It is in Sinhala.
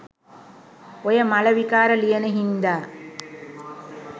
ඔය මල විකාර ලියන හින්දා